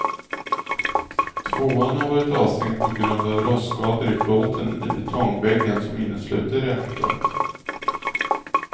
Tvåan har varit avstängd på grund av rostskador i plåten i betongväggen som innesluter reaktorn.